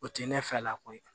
O tɛ ne fɛ la koyi